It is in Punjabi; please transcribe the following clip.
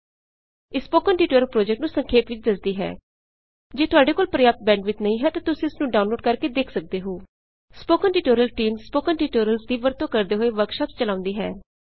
ਇਹ ਸਪੌਕਨ ਟਿਊਟੋਰਿਅਲ ਪ੍ਰੋਜੈਕਟ ਨੂੰ ਸੰਖੇਪ ਵਿੱਚ ਦੱਸਦੀ ਹੈ ਜੇ ਤੁਹਾਡੇ ਕੋਲ ਪ੍ਰਯਾਪ੍ਤ ਬੈਂਡਵਿਡਥ ਨਹੀਂ ਹੈ ਤਾਂ ਤੁਸੀ ਇਸ ਨੂੰ ਡਾਊਨਲੋਡ ਕਰ ਕੇ ਵੀ ਦੇਖ ਸਕਦੇ ਹੋ spoken tutorial team spoken tutorials ਦੀ ਵਰਤੋਂ ਕਰਦੇ ਹੋਏ ਵਰਕਸ਼ਾਪਸ ਚਲਾਉਂਦੀ ਹੈ